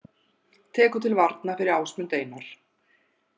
Tekur til varna fyrir Ásmund Einar